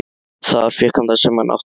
Þar fékk hann það sem hann átti skilið.